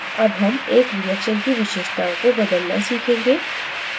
अब हम एक reaction की विशेषताओं को बदलना सीखेंगे